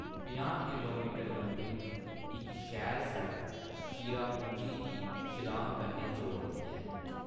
पंजाह् किलोमीटर लम्मी इक शैल सड़क चिरापुंजी गी शिलांग कन्नै जोड़दी ऐ।